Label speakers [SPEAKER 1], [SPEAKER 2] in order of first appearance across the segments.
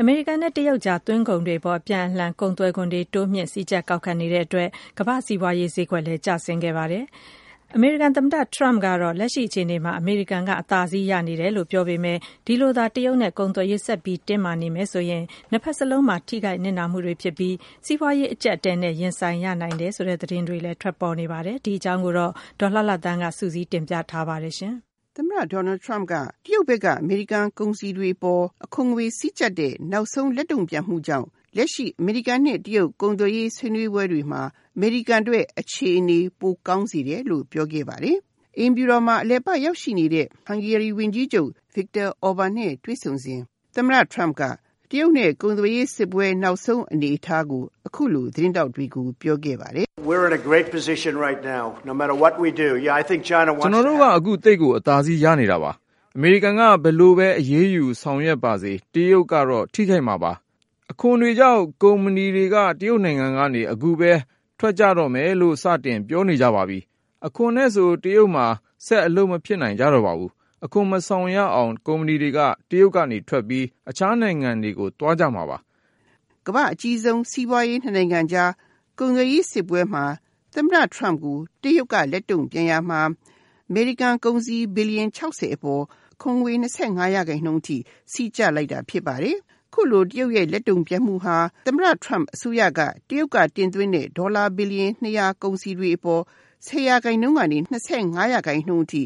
[SPEAKER 1] အမေရိကန်နဲ့ တရုတ်အကြား သွင်းကုန်တွေအပေါ် အပြန်အလှန်ကုန်သွယ်ခွန်တွေ စည်းကြပ် ကောက်ခံနေတဲ့အတွက် ကမ္ဘာစီးပွားရေးဈေးကွက်လည်းကျဆင်းသွားပါတယ်။ အမေရိကန်သမ္မတ Trump ကတော့ လက်ရှိအခြေအနေမှ အမေရိကန်က အသာစီး ရနေတယ်လို့ပြောပေမယ့် ဒီလိုသာ တရုတ်နဲ့ ကုန်သွယ်ရေးဆက်ပြီးတော့ တင်းမာနေမယ်ဆိုရင် ၂ ဖက်စလုံးမှာ ထိခိုက်နစ်နာမှုတွေဖြစ်ပြီး စီးပွားရေးအကျပ်အတည်းနဲ့ ရင်ဆိုင်ရနိုင်တယ်ဆိုတဲ့သတင်းတွေလည်း ထွက်ပေါ်နေပါတယ်။ ဒီအကြောင်းကို ဒေါ်လှလှသန်းက စုစည်းတင်ပြထားပါတယ်။ အမေရိကန်သမ္မတ Trump က တရုတ်ဘက်က အမေရိကန်ကုန်စည်တွေအပေါ် အခွန်ငွေစည်းကြပ်တဲ့ နောက်ဆုံးလက်တုံ့ပြန်မှုကြောင့် လက်ရှိ အမေရိကန်နဲ့ တရုတ်အကြား ကုန်သွယ်ရေးဆွေးနွေးပွဲတွေမှာ အမေရိကန်အတွက်အခြေအနေ ပိုကောင်းစေတယ်လို့ ပြောခဲ့ပါတယ်။ အိမ်ဖြူတော်မှာ အလည်ပတ်ရောက်ရှိနေတဲ့ Hungary ဝန်ကြီးချုပ် Viktor Orban နဲ့ တွေ့ဆုံစဉ် တရုတ်နဲ့ ကုန်သွယ်ရေးစစ်ပွဲ နောက်ဆုံး အနေအထားကို အခုလို သတင်းထောက်တွေကို ပြောခဲ့ပါတယ်။ “ကျနော်တို့က အခုသိပ်ကိ
[SPEAKER 2] ု အသာစီးရနေတာပါ။ အမေရိကန်က ဘယ်လိုပဲအရေးယူဆောင်ရွက်ပါစေ၊ တရုတ်ကတော့ ထိခိုက်မှာပါ။ အခုပဲ ကုမ္ပဏီတွေက အခွန်တွေကြောင့် တရုတ်နိုင်ငံကနေ ထွက်ကြတော့မယ်လို့ စတင်ပြောနေကြပါပြီ။ အခွန်နဲ့ဆို တရုတ်မှာ ဆက် အလုပ်မဖြစ်နိုင်ကြ တော့ပါဘူး။ အခွန်မဆောင်ရအောင် ကုမ္ပဏီတွေက တရုတ်ကနေ ထွက်ပြီး အခြားနိုင်ငံတွေ
[SPEAKER 1] ကို သွားကြမှာပါ။” ကမ္ဘာ့အကြီးဆုံး စီးပွားရေး ၂ နိုင်ငံကြား ကုန်သွယ်ရေးစစ်ပွဲမှာ သမ္မတ Trump ကို တရုတ်က လက်တုံ့ပြန်ရာမှာ အမေရိကန် ကုန်စည် ဘီလီယံ ၆၀ အပေါ် အခွန်ငွေ ၂၅ % နှုန်းအထိ စည်းကျပ်လိုက်တာဖြစ်ပါတယ်။ အခုလို တရုတ်ရဲ့ လက်တုံ့ပြန်မှုဟာ သမ္မတ Trump အစိုးရက တရုတ်က တင်သွင်းတဲ့ ဒေါ်လာ ဘီလီယံ ၂၀၀ ကုန်စည်တွေအပေါ် ၁၀ % ကနေ ၂၅ % နှုန်းအထိ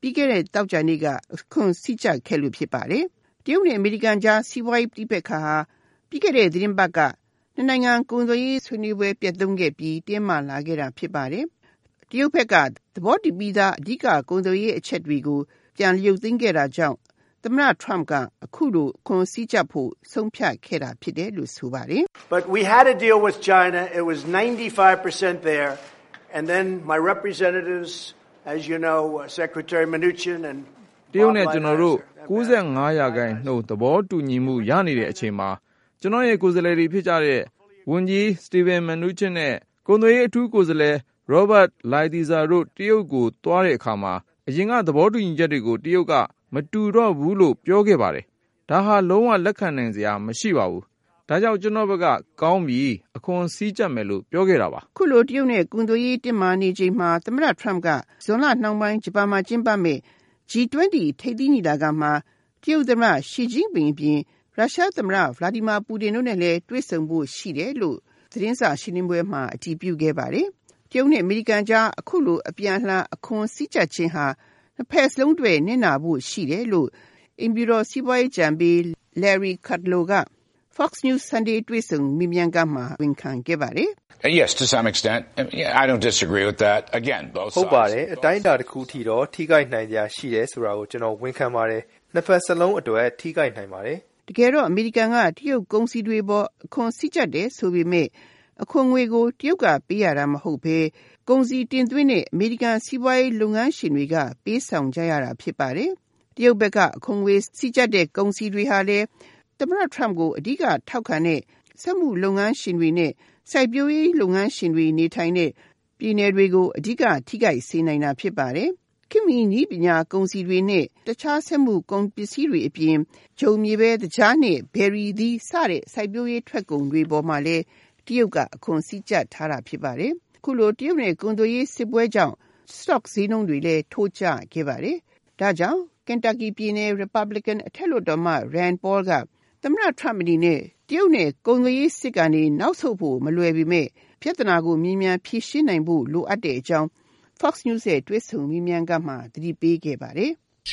[SPEAKER 1] ပြီးခဲ့တဲ့ သောကြာနေ့က အခွန်စည်းကျပ်ခဲ့လို့ဖြစ်ပါတယ်။ တရုတ်နဲ့ အမေရိကန်အကြား စီးပွားရေး ပဋိပက္ခဟာ ပြီးခဲ့တဲ့ သီတင်းပတ်က ၂ နိုင်ငံ ကုန်သွယ်ရေးဆွေးနွေးပွဲ ပျက်ခဲ့ပြီး တင်းမာလာတာဖြစ်ပါတယ်။ တရုတ်ဘက်က သဘောတူပြီးသား ကုန်သွယ်ရေးအချက်တွေကို ပြန်ရုပ်သိမ်းခဲ့တာကြောင့် သမ္မတ Trump က အခုလို အခွန်စည်းကြပ်ဖို့ ဆုံးဖြတ်ခဲ့တာလို့ ဆိုပါတယ်။ “တရုတ်နဲ့ ကျနော်တိ
[SPEAKER 2] ု့ ၉၅% သဘောတူညီမှုရနေတဲ့ အချိန်မှာ ကျနော်ရဲ့ ကိုယ်စားလှယ်တွေ ဖြစ်ကြတဲ့ ဝန်ကြီးSteve Mnuchin နဲ့ ကုန်သွယ်ရေးအထူးကိုယ်စားလှယ် Robert Lighthizer တို့ တရုတ်ကို သွားတဲ့အခါမှာ အရင်က သဘောတူညီချက်တွေကို တရုတ်က မတူတော့ဘူးလို့ ပြောခဲ့တယ်။ ဒါဟာ လုံးဝလက်ခံနိုင်စရာမရှိပါဘူး။ ဒါကြောင့် ကျနော့်ဘက်က ကောင်းပြီ၊ အခွန်စည်းကြပ်မယ်လို့ ပြောခဲ့တာပါ။”
[SPEAKER 1] အခုလို တရုတ်နဲ့ ကုန်သွယ်ရေး တင်းမာနေချိန်မှာ သမ္မတ Trump က ဇွန်လနှောင်းပိုင်း ဂျပန်မှာ ကျင်းပမယ့် G-20 ထိပ်သီးညီလာခံမှာ တရုတ်သမ္မတ Xi အပြင် ရုရှားသမ္မတ Vladimir Putin တို့နဲ့လည်း တွေ့ဖို့ရှိတယ်လို့ သတင်းစာရှင်းလင်းပွဲမှာ အတည်ပြုခဲ့ပါတယ်။ တရုတ်နဲ့ အမေရိကန်အကြား အခုလို အပြန်အလှန် အခွန်စည်းကြပ်တာဟာ နှစ်ဖက်စလုံးအတွက် နစ်နာဖို့ရှိတယ်လို့ အိမ်ဖြူတော် စီးပွားရေးအကြံပေး Larry Cudlow က Fox news Sunday တွေ့ဆုံမေးမြန်းခန်းမှာ ဝန်ခံခဲ့ပါတယ်။ “ဟုတ်ပါတယ်။ အတိုင်းအတာတခုထိတော့ ထိခိုက်နိုင်စရာရှိတယ်ဆိုတာကို ကျနော် ဝန်ခံပါတယ်။ နှစ်ဘက်စလုံးအတွက် ထိခိုက်နိုင်ပါတယ်။” တကယ်တော့ အမေရိကန်က တရုတ်ကုန်တွေအပေါ် အခွန်စည်းကြပ်တယ်ဆိုပေမယ့် အခွန်ငွေကို တရုတ်က ပေးရတာမဟုတ်ပဲ ကုန်စည်တင်သွင်းတဲ့ အမေရိကန် စီးပွားရေး လုပ်ငန်းရှင်တွေက ပေးဆောင်ရတာဖြစ်ပါတယ်။ တရုတ်ဘက်က အခွန်ငွေ စည်းကြပ်တဲ့ ကုန်စည်တွေဟာလည်း သမ္မတ Trump ကို အဓိက ထောက်ခံတဲ့ စက်မှုလုပ်ငန်းရှင်တွေ နဲ့ စိုက်ပျိုးရေးလုပ်ငန်းရှင်တွေ နေထိုင်တဲ့ ပြည်နယ်တွေကို အဓိက ထိခိုက်စေနိုင်တာဖြစ်ပါတယ်။ ခေတ်မီနည်းပညာ၊ ကုန်စည်တွေနဲ့ တခြားစက်မှုလုပ်ငန်းကုန်စည်တွေအပြင် ဂျုံ၊ မြေပဲ၊ သကြား နဲ့ ဘယ်ရီအသီး စတဲ့ စိုက်ပျိုးရေးထွက်ကုန်တွေမှာလည်း တရုတ်က အခွန်စည်းကြပ်ထားတာဖြစ်ပါတယ်။ အခုလို တရုတ်နဲ့ ကုန်သွယ်ရေးစစ်ပွဲကြောင့် စတော့ ဈေးနှုန်းတွေလည်း ထိုးကျခဲ့ပါတယ်။ ဒါကြောင့် အထက်လွှတ်တော်အမတ် Rand Paul က သမ္မတ Trump အနေနဲ့ တရုတ်နဲ့ ကုန်သွယ်ရေးစစ်ကနေ နောက်ဆုတ်ဖို့မလွယ်ပေမယ့် ပြဿနာကို မြန်မြန်ဖြေရှင်းနိုင်ဖို့ လိုကြောင်း Fox news တွေ့ဆုံမေးမြန်းခန်းမှာ သတိပေးခဲ့ပါတယ်။
[SPEAKER 2] “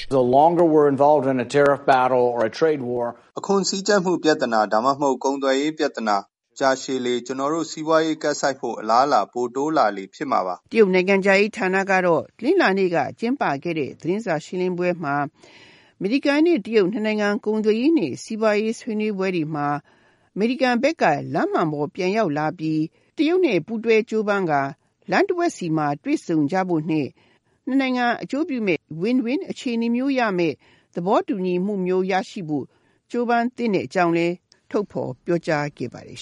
[SPEAKER 2] အခွန်စည်းကြပ်မှု ဒါ
[SPEAKER 1] မှမဟတု် ကုန်သွယ်ရေးပြဿနာ ကြာရှည်လေ ကျနော်တို့ စီးပွားရေးကပ်ဆိုက်ဖို့ အလားအလာ ပိုတိုးလာလေ ဖြစ်မှာပါ။” တရုတ်နိုင်ငံခြားရေးဌာနကတော့ တနင်္လာနေ့က ကျင်းပခဲ့တဲ့ သတင်းစာရှင်းလင်းပွဲမှာ အမေရိကန်နဲ့ တရုတ် ၂ နိုင်ငံ ကုန်သွယ်ရေးနဲ့ စီးပွားရေးဆွေးနွေးပွဲ တွေမှာ အမေရိကန်ဘက်က လမ်းမှန်ပေါ်ပြန်ရောက်လာပြီး တရုတ်နဲ့ ပူးတွဲကြိုးပမ်းကာ လမ်းတဝက်မှာ တွေ့ဆုံကြဖို့နဲ့ နှစ်နိုင်ငံ အကျိုးပြုမယ့် win- win အခြေအနေမျိုးရောက်မယ့် သဘောတူညီမှုမျိုး ရရှိဖို့ ကြိုးပမ်းသင့်တဲ့အကြောင်းလည်း ထုတ်ဖော်ပြောကြားခဲ့ပါတယ်